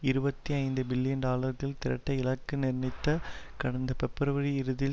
இருபத்தி ஐந்து பில்லியன் டாலர்கள் திரட்ட இலக்கு நிர்ணயித்த கடந்த பிப்ரவரி இறுதியில்